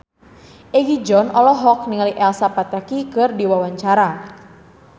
Egi John olohok ningali Elsa Pataky keur diwawancara